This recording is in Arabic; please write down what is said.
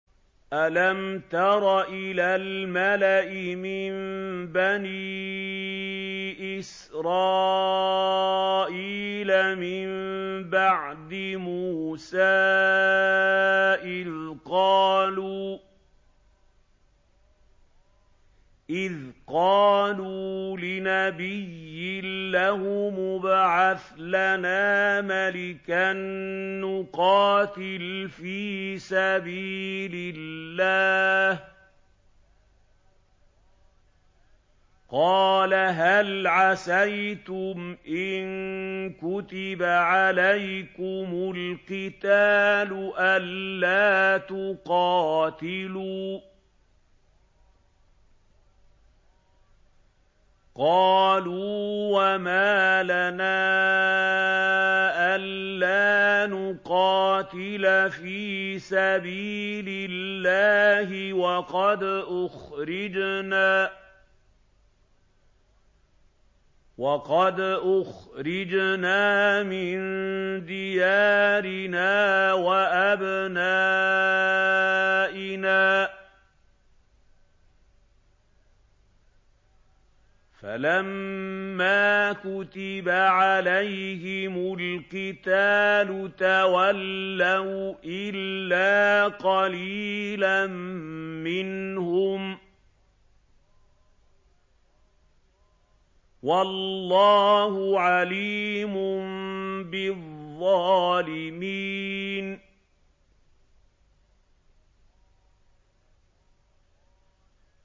أَلَمْ تَرَ إِلَى الْمَلَإِ مِن بَنِي إِسْرَائِيلَ مِن بَعْدِ مُوسَىٰ إِذْ قَالُوا لِنَبِيٍّ لَّهُمُ ابْعَثْ لَنَا مَلِكًا نُّقَاتِلْ فِي سَبِيلِ اللَّهِ ۖ قَالَ هَلْ عَسَيْتُمْ إِن كُتِبَ عَلَيْكُمُ الْقِتَالُ أَلَّا تُقَاتِلُوا ۖ قَالُوا وَمَا لَنَا أَلَّا نُقَاتِلَ فِي سَبِيلِ اللَّهِ وَقَدْ أُخْرِجْنَا مِن دِيَارِنَا وَأَبْنَائِنَا ۖ فَلَمَّا كُتِبَ عَلَيْهِمُ الْقِتَالُ تَوَلَّوْا إِلَّا قَلِيلًا مِّنْهُمْ ۗ وَاللَّهُ عَلِيمٌ بِالظَّالِمِينَ